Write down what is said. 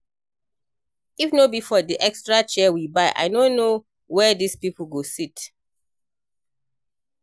If no be for the extra chair we buy I no know where dis people go sit